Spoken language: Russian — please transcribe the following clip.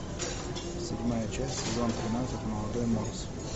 седьмая часть сезон тринадцать молодой морс